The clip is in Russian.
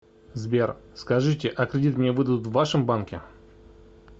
сбер скажите а кредит мне выдадут в вашем банке